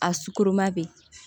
A sukɔro ma bɛ